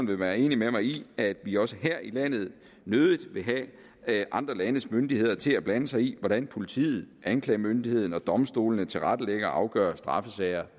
vil være enige med mig i at vi også her i landet nødig vil have andre landes myndigheder til at blande sig i hvordan politiet anklagemyndigheden og domstolene tilrettelægger og afgør straffesager